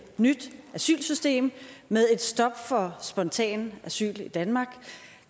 nyt asylsystem med et stop for spontan asyl i danmark